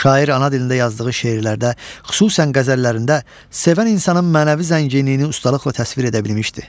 Şair ana dilində yazdığı şeirlərdə, xüsusən qəzəllərində sevən insanın mənəvi zənginliyini ustalıqla təsvir edə bilmişdir.